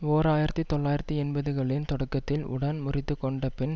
ஓர் ஆயிரத்தி தொள்ளாயிரத்தி எண்பதுகளின் தொடக்கத்தில் உடன் முறித்து கொண்ட பின்